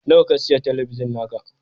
Nawa ka sayi talabijin naka?